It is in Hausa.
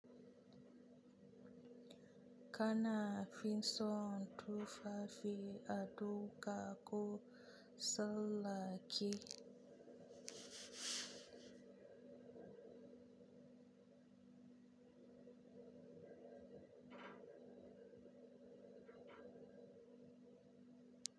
Kana fin son tufafi a duka ko Sallah ke?